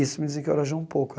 Isso me desencarajou um pouco.